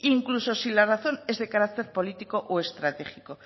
incluso si la razón es de carácter político o estratégico